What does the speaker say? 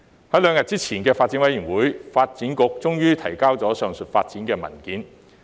在3日前的發展事務委員會，發展局終於提交有關上述發展的文件。